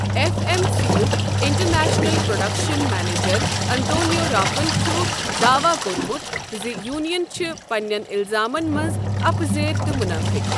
F M C یُک international production manager Antonio رافن چھ داواہ کوٚرمُت زِ یونین چھِ پننٮ۪ن اِلزامن منٛز اپزیٲرۍ تہٕ منٲفق۔